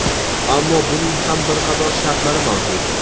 Ammo buning ham bir qator shartlari mavjud.